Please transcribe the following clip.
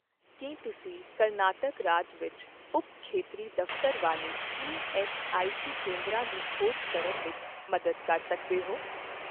ਕੀ ਤੁਸੀਂ ਕਰਨਾਟਕ ਰਾਜ ਵਿੱਚ ਉਪ ਖੇਤਰੀ ਦਫ਼ਤਰ ਵਾਲੇ ਈਐੱਸਆਈਸੀ ਕੇਂਦਰਾਂ ਦੀ ਖੋਜ ਕਰਨ ਵਿੱਚ ਮਦਦ ਕਰ ਸਕਦੇ ਹੋ?